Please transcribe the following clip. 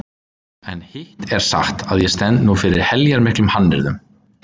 En hitt er satt að ég stend nú fyrir heljarmiklum hannyrðum.